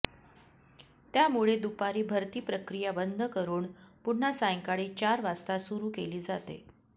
त्यामुळे दुपारी भरती प्रक्रिया बंद करून पुन्हा सायंकाळी चार वाजता सुरू केली जाते